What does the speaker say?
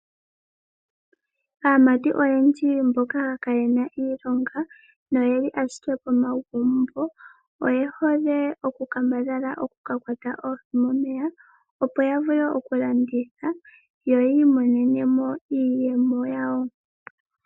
Aamati oyendji mboka kayena iilonga noyeli ashike komagumbo oye hole oku kambadhala oku ka kwata oohi momeya, opo ya vule oku landitha yo yi imonenemo iiyemo yawo.